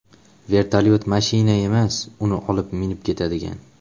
Vertolyot mashina emas, uni olib minib ketadigan.